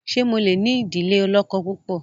ṣe mọ lẹ ní idile olókó púpọ?